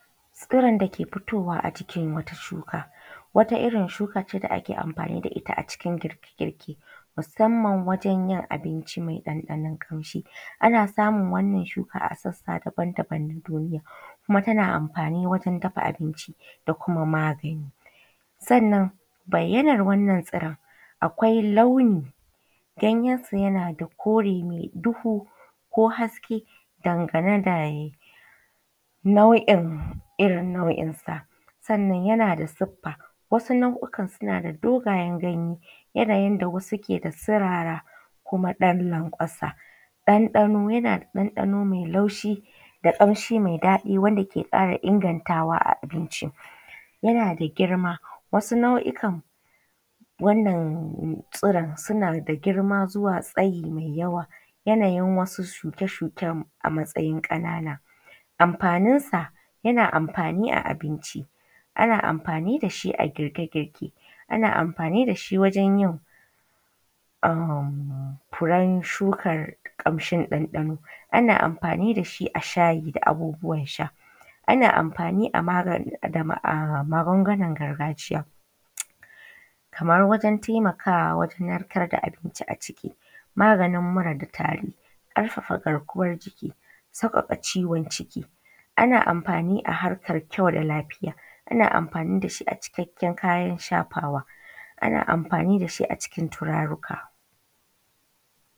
Tsiron dake fitowa a jikin wata shuka. Wata irrin shuka kenan da ake amfani da itta a cikin girke girke musamman wajen yin abinci mai ɗan ɗanon kamshi. Ana samun wannan shuka a ƙasa daban daban kuma tana amfani wajen dafa abinci da kuma magani. Sannan bayyanan wennan tsiron akwai launi ganyen sa yanada kore duhu ko haske dangane dayinau’in irrin nau’insa sannan yanada siffa. Wasu nau’ikan suna da dogayen ganyen yanda keda sirara da kuma ɗan lankwasa, ɗan ɗano yana da ɗan ɗano mai laushi da kamshi mai daɗi wanda ke ƙara ingantawa abinci. Yanada girma wasu nau’ikan wannan tsiron suna da girma zuwa tsayi mai yawa, yanayin wasu shuke shuken a matsayin ƙanana. Amfanin sa yana amfani a abinci ana mafani dashi a girke girke, ana amfani dashi wajen yin furen shukan ɗan ɗano, ana amfani da shi wajen shayi da abubuwan sha, ana amfani dashi a magungunan gargajiya Kaman wajen taimakawa narkar da abinci a ciki, maganin mura da tari ƙarfafa garkuwan jiki saiƙaƙa ciwon ciki. Ana amfani a harkar kyau da lafiya, ana amfani dashi a cikakken kayan shafawa, ana amfani dashi a cikin turaruka.